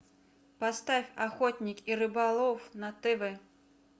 поставь охотник и рыболов на тв